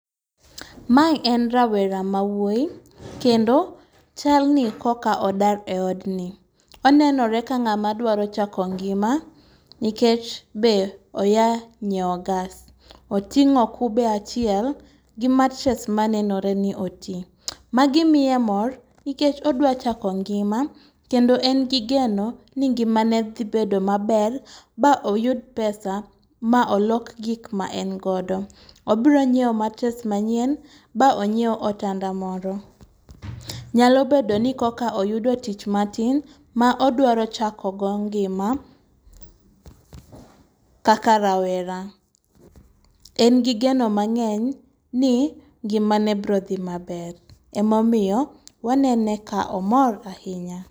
Ma en rawera mawuoyi kendo chalni koka odar e odni .Onenore ka ng'atma dwaro chako ngima nikech be oya nyiewo gas. Oting'o kube achiel gi matere manenore ni oti. Magi iya mor nikech odwa chako ngima kendo en gi geno ni ngima ne dhi bedo maber ba oyud pesa ma olok gik ma en godo .Obiro nyiewo matres manyien ba onyiew otanda moro. Nyalo bedo ni koka oyudo tich matin ma odwaro chako go ngima kaka rawera. En gi geno mang'eny ni ngima ne bro dhi maber emomiyo wanene ka omor ahinya.